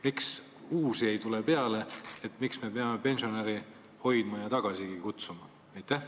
Miks uusi ei tule peale, miks me peame pensionäre hoidma ja tagasigi kutsuma?